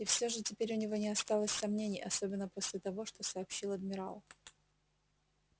и всё же теперь у него не осталось сомнений особенно после того что сообщил адмирал